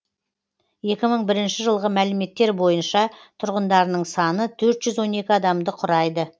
екі мың бірінші жылғы мәліметтер бойынша тұрғындарының саны төрт жүз он екі адамды құрайды